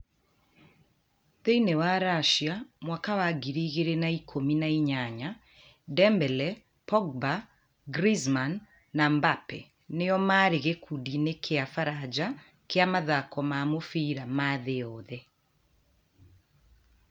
Thĩiniĩ wa Racia mwaka wa ngiri igĩrĩ na ikũmi na inyanya, Dembele, Pogba, Griezmann na Mbappe nĩo marĩ gĩkundi-inĩ kĩa baranja kĩa mathako ma mũbira ma thĩĩ yothe.